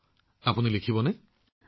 তেন্তে আপুনি লিখিব নে